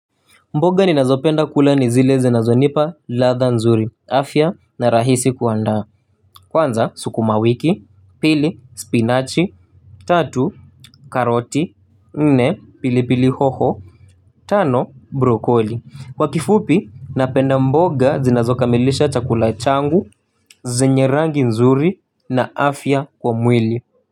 Mboga ninazopenda kula ni zile zinazo nipa ladha nzuri, afya na rahisi kuandaa. Kwanza sukumamwiki, pili, spinachi tatu, karoti, nne, pilipili hoho, tano, brokoli. Kwa kifupi, napenda mboga zinazokamilisha chakula changu, zenye rangi nzuri na afya kwa mwili.